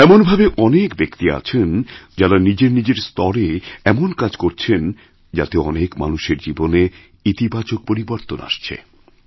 এমনভাবে অনেকব্যক্তি আছেন যাঁরা নিজের নিজের স্তরে এমন কাজ করছেন যাতে অনেক মানুষের জীবনেইতিবাচক পরিবর্তন আসছে